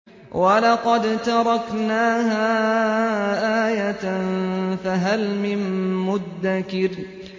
وَلَقَد تَّرَكْنَاهَا آيَةً فَهَلْ مِن مُّدَّكِرٍ